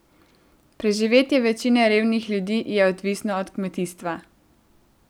Preživetje večine revnih ljudi je odvisno od kmetijstva.